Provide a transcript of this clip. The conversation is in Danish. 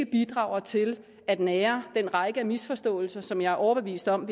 bidrager til at nære den række af misforståelser som jeg er overbevist om